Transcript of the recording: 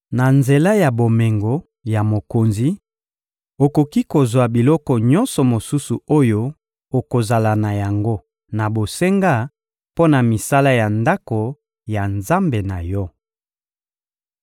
Na nzela ya bomengo ya mokonzi, okoki kozwa biloko nyonso mosusu oyo okozala na yango na bosenga mpo na misala ya Ndako ya Nzambe na yo.